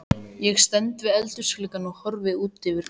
Ég stend við eldhúsgluggann og horfi út yfir garðana.